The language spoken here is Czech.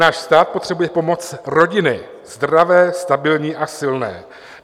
Náš stát potřebuje pomoc rodiny, zdravé, stabilní a silné.